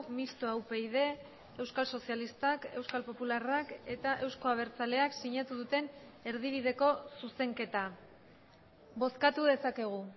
mistoa upyd euskal sozialistak euskal popularrak eta euzko abertzaleak sinatu duten erdibideko zuzenketa bozkatu dezakegu